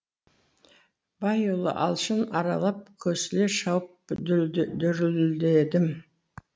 байұлы алшын аралап көсіле шауып дүрледім